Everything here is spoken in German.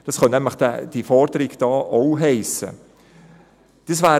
Dies könnte diese Forderung nämlich auch bedeuten.